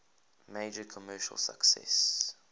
major commercial success